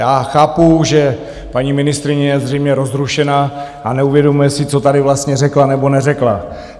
Já chápu, že paní ministryně je zřejmě rozrušená a neuvědomuje si, co tady vlastně řekla nebo neřekla.